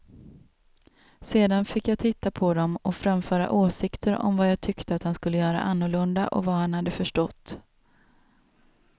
Sedan fick jag titta på dem och framföra åsikter om vad jag tyckte att han skulle göra annorlunda och vad han hade förstått.